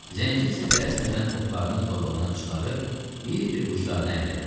Zənci isə tələsmədən oxlarını torbadan çıxarıb bir-bir uclarını əllədi.